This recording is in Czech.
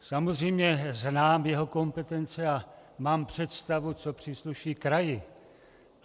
Samozřejmě znám jeho kompetence a mám představu, co přísluší kraji.